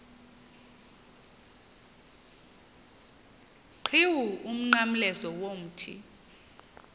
qhiwu umnqamlezo womthi